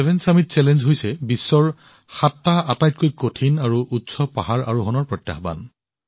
সাত সন্মিলন প্ৰত্যাহ্বান হৈছে বিশ্বৰ সাতটা আটাইতকৈ কঠিন আৰু ওখ পাহাৰ আৰোহণৰ প্ৰত্যাহ্বান